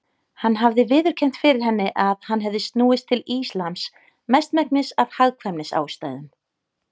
Hann hafði viðurkennt fyrir henni að hann hefði snúist til Íslams mestmegnis af hagkvæmnisástæðum.